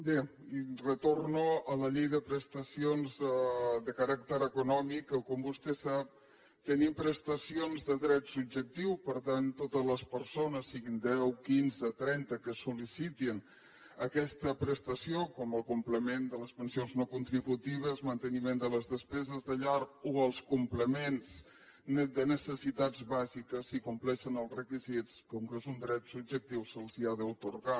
bé retorno a la llei de prestacions de caràcter econòmic en què com vostè sap tenim prestacions de dret subjectiu per tant totes les persones siguin deu quinze trenta que sol·licitin aquesta prestació com el complement de les pensions no contributives manteniment de les despeses de llar o els complements de necessitats bàsiques si compleixen els requisits com que és un dret subjectiu se’ls ha d’atorgar